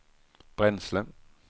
bränsle